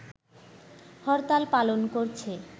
হরতাল পালন করছে